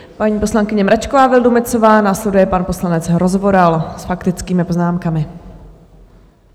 Paní poslankyně Mračková Vildumetzová, následuje pan poslanec Rozvoral s faktickými poznámkami.